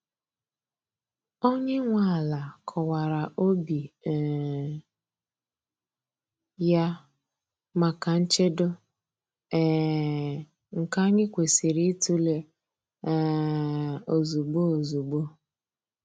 Onye nwe ala kọwara obi um ya maka nchedo, um nke anyị kwesịrị ịtụle um ozugbo ozugbo.